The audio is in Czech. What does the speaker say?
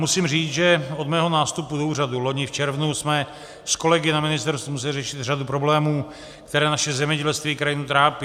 Musím říct, že od mého nástupu do úřadu loni v červnu jsme s kolegy na ministerstvu museli řešit řadu problémů, které naše zemědělství i krajinu trápí.